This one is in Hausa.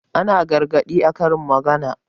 Ana gargaɗi da karin magana.